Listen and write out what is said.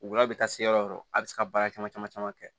Ul'aw bɛ taa se yɔrɔ o yɔrɔ a bɛ se ka baara caman caman caman kɛ